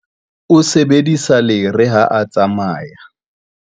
O sebedisa lere ha a tsamaya.